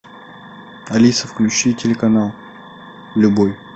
алиса включи телеканал любой